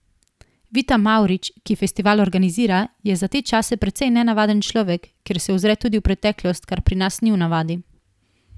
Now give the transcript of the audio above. Vita Mavrič, ki festival organizira, je za te čase precej nenavaden človek, ker se ozre tudi v preteklost, kar pri nas ni v navadi.